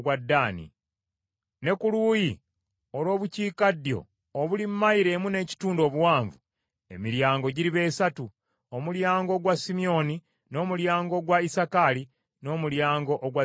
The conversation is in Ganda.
Ne ku luuyi olw’Obukiikaddyo obuli mayilo emu n’ekitundu obuwanvu, emiryango giriba esatu: omulyango ogwa Simyoni, n’omulyango ogwa Isakaali, n’omulyango ogwa Zebbulooni.